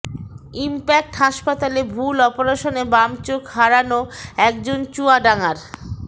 impact হাসপাতালে ভুল অপারেশনে বাম চোখ হারানো একজন চুয়াডাঙ্গার